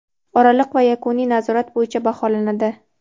oraliq va yakuniy nazorat bo‘yicha baholanadi.